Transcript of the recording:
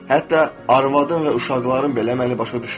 Hətta arvadım və uşaqlarım belə məni başa düşmədi.